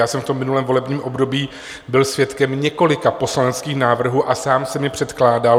Já jsem v tom minulém volebním období byl svědkem několika poslaneckých návrhů a sám jsem je předkládal.